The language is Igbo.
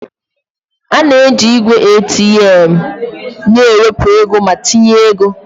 A na-eji igwe ATM na-ewepụ ego ma tinye ego.